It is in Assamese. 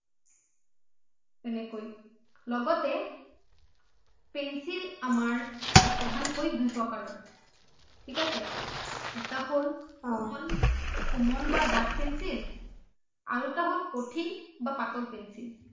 তেনেকৈ লগতে pencil আমাৰ প্ৰধানকৈ দুই প্ৰকাৰৰ থিক আছে এটা হ’ল কুমল এটা হ’ল কুমল বা দাঠ pencil আৰু এটা হ’ল কঠিন বা পাতল pencil